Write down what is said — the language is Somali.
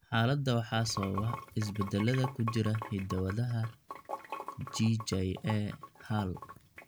Xaaladda waxaa sababa isbeddellada ku jira hidda-wadaha GJA haal.